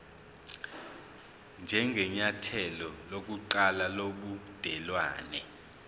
njengenyathelo lokuqala lobudelwane